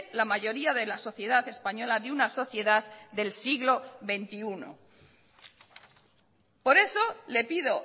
la mayoría de la sociedad española de una sociedad del siglo veintiuno por eso le pido